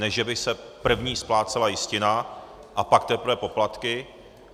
Ne že by se první splácela jistina a pak teprve poplatky.